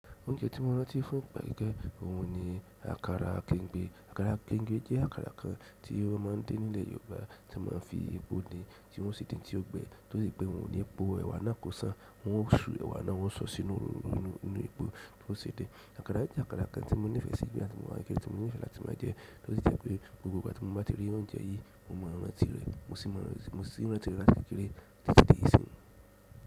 Oúnjẹ tí mo rántí fún ọ gbẹ́gẹ́ òun ni àkàrà kẹ̀ǹgbe. Àkàrà kẹ̀ǹgbe jẹ́ àkàrà kan tí wọ́n má ń din nílẹ̀ Yorùbá tí wọ́n má ń fi epo din tí wọ́n sì dín tí ó gbẹ tó rí pé òun ni epo, ẹ̀wà náà kò sàn, wọ́n ó su ewa náà, wọ́n sọ sínú inú epo tí ó ṣe dín. Àkàrà jẹ́ àkàrà kan tí mo nífẹ̀ẹ́ sí gbígbà tí mo má ń gé, tí mo nífẹ̀ẹ́ láti máa jẹ, tó sì jẹ́ pé gbogbo ìgbà tí mo bá ti rí oúnjẹ yìí, mo máa rántí rẹ̀, mo sì máa rántí rẹ̀ láti kíkere títí di ìsín.